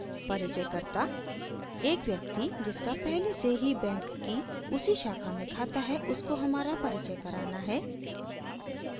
परिचयकर्ता: एक व्यक्ति जिसका पहले से ही बैंक की उसी शाखा में खाता है उसको हमारा परिचय कराना है